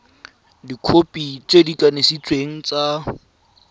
dikhopi tse di kanisitsweng tsa